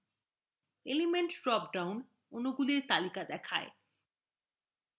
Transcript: element drop down অণুগুলির তালিকা দেখায়